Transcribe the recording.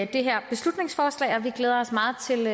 det her beslutningsforslag og vi glæder os meget til